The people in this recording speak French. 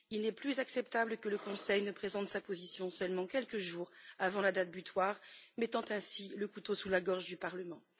Il n'est plus acceptable que le Conseil nous présente sa position seulement quelques jours avant la date butoir, mettant ainsi le couteau sous la gorge du Parlement.